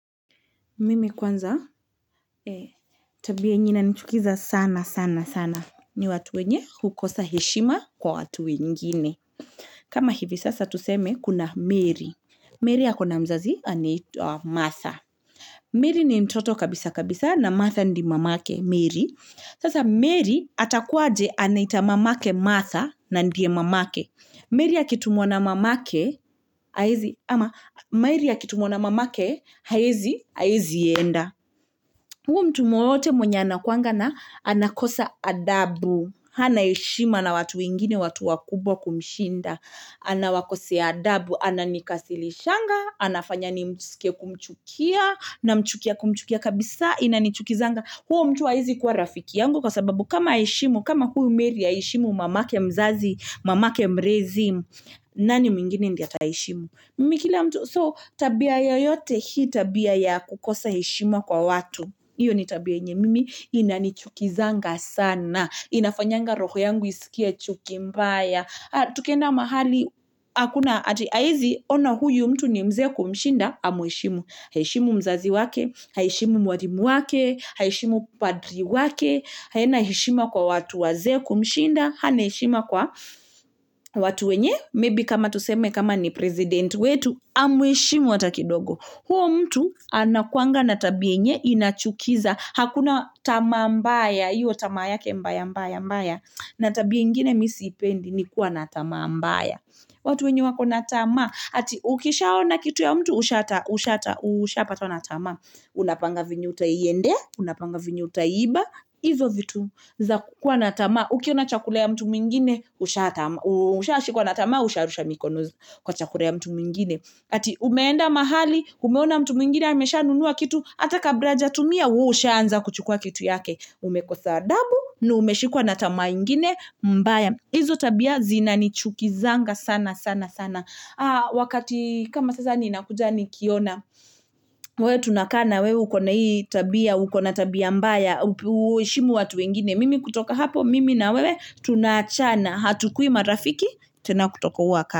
Mimi kwanza tabia yenye inanichukiza sana sana sana ni watu wenye hukosa heshima kwa watu wengini kama hivi sasa tuseme kuna Mary, Mary ako na mzazi anaetwa matha Mary ni ntoto kabisa kabisa na Matha ndi mamake Mary sasa Mary atakuwaje anaita mamake matha na ndie mamake Mary akitumwa na mamake haezi enda huo mtu mwowote mwenye anakwanga na anakosa adabu hana heshima na watu wengine watu wakubwa kumshinda anawakosea adabu ananikasilishanga anafanya nimskie kumchukia namchukia kumchukia kabisa inanichukizanga huo mtu haezi kuwa rafiki yangu kwa sababu kama haeshimu kama huyu Mary haeshimu mamake mzazi, mamake mrezi nani mwingine ndiye ataheshimu so tabia yoyote hii tabia ya kukosa heshima kwa watu iyo ni tabia yenye mimi inanichukizanga sana inafanyanga roho yangu isikie chuki mbaya tukienda mahali akuna ati haezi ona huyu mtu ni mzee kumshinda amweshimu haeshimu mzazi wake haeshimu mwarimu wake haeshimu padri wake haina heshima kwa watu wazee kumshinda hana heshima kwa watu wenye maybe kama tuseme kama ni president wetu amweshimu hata kidogo huo mtu anakuanga na tabia yenye inachukiza hakuna tamaa mbaya iyo tamaa yake mbaya mbaya na tabia ingine mi siipendi ni kuwa na tamaa mbaya watu wenye wako na tamaa ati ukishaona kitu ya mtu ushapatwa na tamaa unapanga venye utaiendea unapanga venye utaiiba izo vitu za kukuwa na tamaa ukiona chakula ya mtu mwingine ushashikwa na tamaa usharusha mikono kwa chakula ya mtu mwingine ati umeenda mahali umeona mtu mwingine ameshanunua kitu ata kabra ajatumia we hushaanza kuchukua kitu yake umekosa adabu na umeshikwa na tamaa ingine mbaya izo tabia zinanichukizanga sana sana sana wakati kama sasa ninakuja nikiona wewe tunakaa na wewe uko na hii tabia uko na tabia mbaya huheshimu watu wengine mimi kutoka hapo mimi na wewe tunaachana hatukuwi marafiki tena kutoka huo waka.